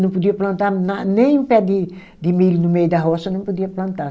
Não podia plantar na nem um pé de de milho no meio da roça, não podia plantar.